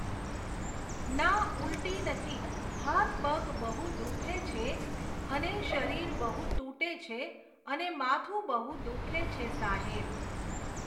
ના ઉલટી નથી, હાથપગ બહુ દુઃખે છે ને શરીર બહુ તૂટે છે ને માથું બહુ દુઃખે છે સાહેબ